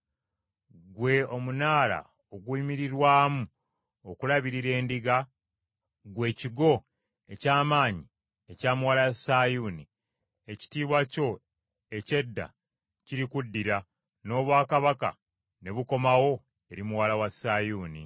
Ggwe omunaala oguyimirirwamu okulabirira endiga, ggwe ekigo eky’amaanyi ekya Muwala wa Sayuuni, ekitiibwa kyo eky’edda kirikuddira, n’obwakabaka ne bukomawo eri Muwala wa Sayuuni.”